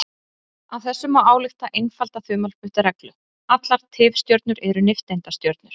Af þessu má álykta einfalda þumalputtareglu: Allar tifstjörnur eru nifteindastjörnur.